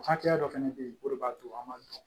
Hakɛya dɔ fɛnɛ be yen o de b'a to an b'a dɔn